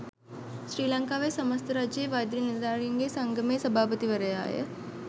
ශ්‍රී ලංකාවේ සමස්ථ රජයේ වෛද්‍ය නිලධාරීන්ගේ සංගමේ සභාපතිවරයාය.